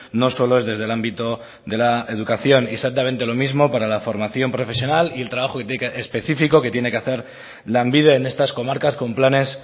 no solo es desde el ámbito de la educación y exactamente lo mismo para la formación profesional y el trabajo específico que tiene que hacer lanbide en estas comarcas con planes